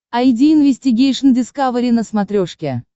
айди инвестигейшн дискавери на смотрешке